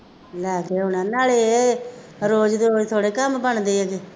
ਲੈ ਕੇ ਆਉਣਾ ਨਾਲੇ ਰੋਜ਼ ਦੇ ਰੋਜ਼ ਥੋੜ੍ਹੇ ਕੰਮ ਬਣਦੇ